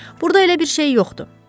Burda elə bir şey yoxdu.